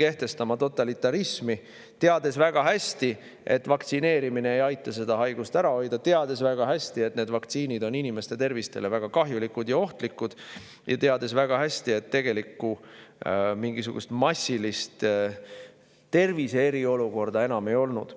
kehtestama totalitarismi, teades väga hästi, et vaktsineerimine ei aita seda haigust ära hoida, teades väga hästi, et need vaktsiinid on inimeste tervisele väga kahjulikud ja ohtlikud, ja teades väga hästi, et tegelikult mingisugust massilist terviseriolukorda enam ei olnud.